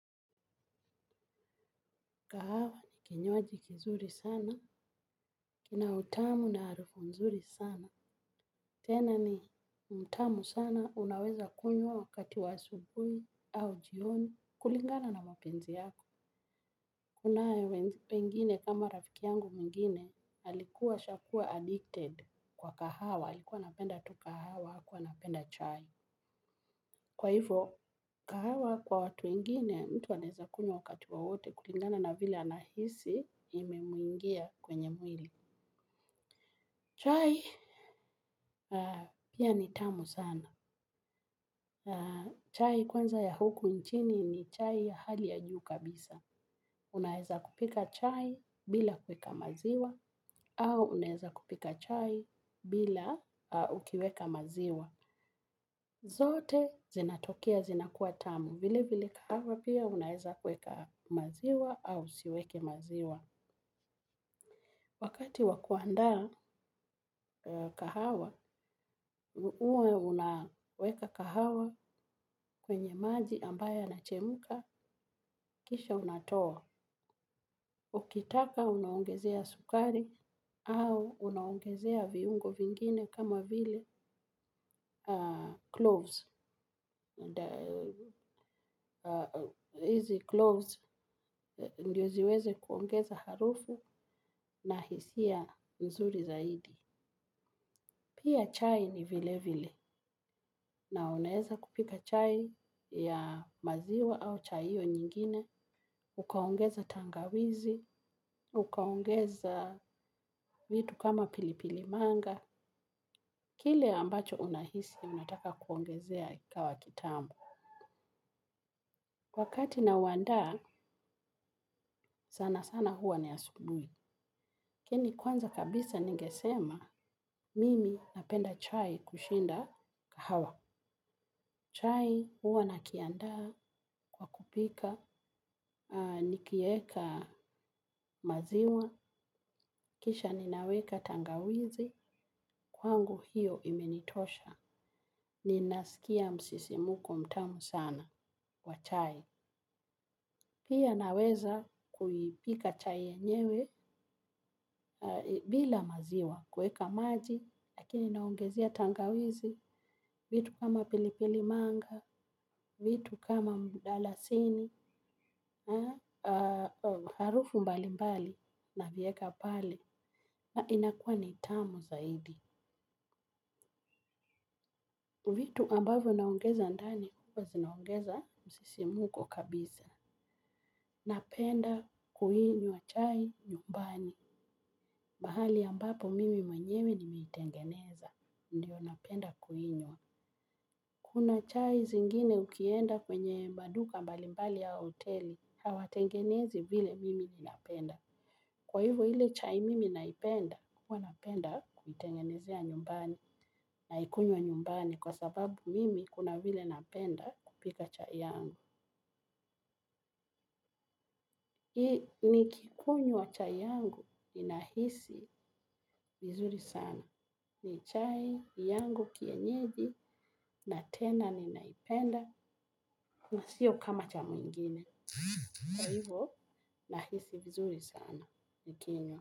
Kahawa ni kinyoaji kizuri sana, kina utamu na arufu mzuri sana. Tena ni utamu sana unaweza kunyo wakati wa asubui au jioni kulingana na mapenzi yako. Kunayo wengine kama rafiki yangu mwingine alikuwa ashakuwa addicted kwa kahawa. Alikuwa anapenda tu kahawa, hakuwa anapenda chai. Kwa hivyo, kahawa kwa watu wengine, mtu anaweza kunywa wakati wowote kulingana na vile anahisi imemuingia kwenye mwili. Chai, piya ni tamu sana. Chai kwanza ya huku nchini ni chai ya hali ya juu kabisa. Unaweza kupika chai bila kuweka maziwa, au unaweza kupika chai bila aah ukiweka maziwa. Zote zinatokea zinakuwa tamu. Vile vile kahawa piya unaweza kuweka maziwa au usiweke maziwa. Wakati wa kuanda kahawa, uwa unaweka kahawa kwenye maji ambayo inachemuka, kisha unatoa. Ukitaka unaongezea sukari au unaongezea viungo vingine kama vile cloves. Hizi cloves ndio ziweze kuongeza harufu na hisiya nzuri zaidi. Piya chai ni vile vile na unaweza kupika chai ya maziwa au chai hiyo nyingine. Ukaongeza tangawizi, ukaongeza vitu kama pilipili manga. Kile ambacho unahisi unataka kuongezea ikawa kitamu. Wakati na uandaa, sana sana huwa ni asubuhi lakini kwanza kabisa ningesema, mimi napenda chai kushinda kahawa. Chai huwa na kiandaa kwa kupika, nikieka maziwa, kisha ninaweka tangawizi, kwangu hiyo imenitosha. Ninasikia msisimko mtamu sana kwa chai. Pia naweza kuipika chai yenyewe bila maziwa, kuweka maji, lakini naongezea tangawizi, vitu kama pili pili manga, vitu kama mdalasini, harufu mbali mbali navieka pale na inakuwa ni tamu zaidi. Vitu ambavyo naongeza ndani, huwa zinaongeza msisimko kabisa. Napenda kuinywa chai nyumbani. Mahali ambapo mimi mwenyewe nimeitengeneza. Ndiyo napenda kuinywa. Kuna chai zingine ukienda kwenye maduka mbalimbali au hoteli. Hawatengenezi vile mimi ninapenda. Kwa hivyo ile chai mimi naipenda, huwa napenda kuitengenezea nyumbani. Naikunywa nyumbani kwa sababu mimi kuna vile napenda kupika chai yangu. Ni kikunywa chai yangu ninahisi vizuri sana. Ni chai yangu kienyeji na tena ninaipenda na siyo kama cha mwingine. Na hivyo, nahisi vizuri sana. Nikinywa.